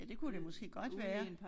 Ja det kunne det måske godt være